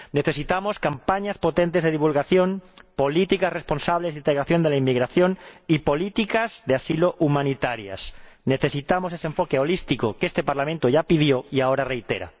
Necesitamos campañas potentes de divulgación, políticas responsables de integración de la inmigración y políticas de asilo humanitarias. Necesitamos ese enfoque holístico que este Parlamento ya pidió, y ahora reitera.